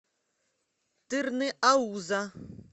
тырныауза